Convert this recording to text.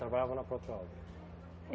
Trabalhava na? É